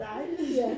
Dejligt